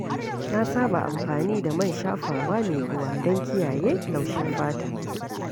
Na saba amfani da man shafawa mai ruwa don kiyaye laushin fata.